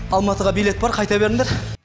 алматыға билет бар қайта беріңдер